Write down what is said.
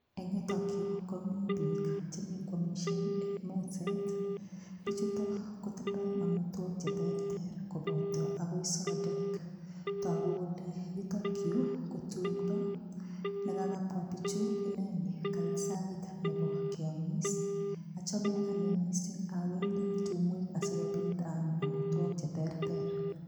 Eng yutok yu komi biik chenyikwamisie eng meset. Bichuto kotindoi amitwogik cheterter koboto agoi sodek. Tagu kole yutok yu kotumndo ne kagakabwa biichu ineni kait sait nebo keamis. Achame anne mising awendi tumwek asikopit aam amitwogik cheterter.